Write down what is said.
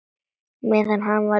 Meðan hann var úti?